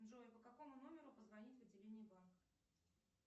джой по какому номеру позвонить в отделение банка